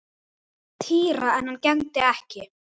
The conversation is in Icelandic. Týra en hann gegndi ekki.